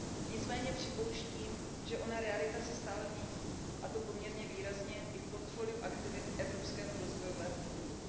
Nicméně připouštím, že ona realita se stále mění, a to poměrně výrazně, i v portfoliu aktivit Evropského rozvojového fondu.